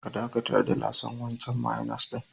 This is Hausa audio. Ka dakatar da lasan wancan mayonnaise.